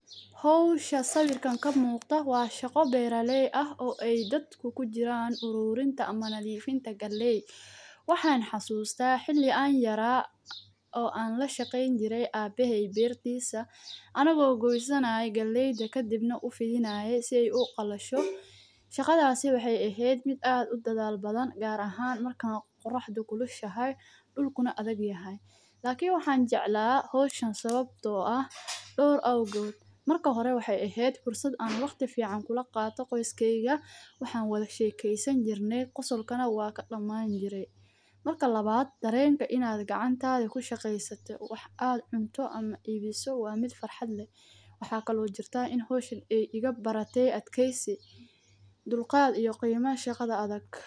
Howshan muuqata waa shaqo beeraleyda aay kujiraan oo arurinta galeyda waqti aan aabahey ushqeen jire ayado lagoosan hadana bananka lagu amdadiyo waxaa lagu baraata adkeysi iyo qiimo iyo sido kale shaqada adage farxada ayaa laga helaa.